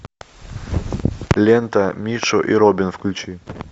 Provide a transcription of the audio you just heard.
лента мишу и робин включи